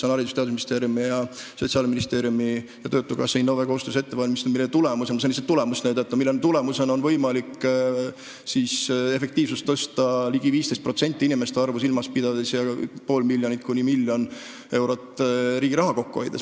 Haridus- ja Teadusministeeriumi, Sotsiaalministeeriumi, töötukassa ja Innove koostöös valmistatakse seda ette ning selle tulemusel on võimalik tõsta efektiivsust ligi 15%, pidades silmas inimeste arvu, ja hoida riigi raha kokku pool miljonit kuni miljon eurot.